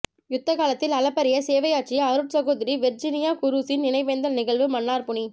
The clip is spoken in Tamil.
யுத்தகாலத்தில் அளப்பரிய சேவையாற்றிய அருட்சகோதரி வெர்ஜினியா குரூஸின் நினைவேந்தல் நிகழ்வு மன்னார் புனி